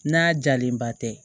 N'a jalenba tɛ